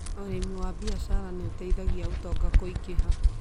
Ũrĩmĩ wa biacara nĩ ũteithagia ũtonga kũingĩha.